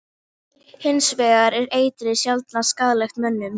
Litan stjórnar ljósmagninu sem berst inn í augað.